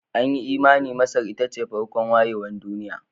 An yi imanin Masar ita ce farkon wayewar duniya